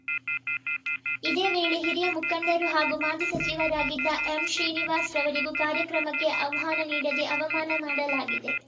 ಇದೇ ವೇಳೆ ಹಿರಿಯ ಮುಖಂಡರು ಹಾಗೂ ಮಾಜಿ ಸಚಿವರಾಗಿದ್ದ ಎಂ ಶ್ರೀನಿವಾಸ್‌ ರವರಿಗೂ ಕಾರ್ಯಕ್ರಮಕ್ಕೆ ಆಹ್ವಾನ ನೀಡದೆ ಅವಮಾನ ಮಾಡಲಾಗಿದೆ